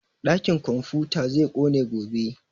Ɗakin komfuta zai ƙone gobe